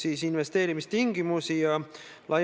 Tõesti, need ei ole maalid, vaid on fotod.